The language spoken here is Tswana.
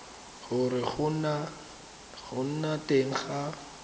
gore go nna teng ga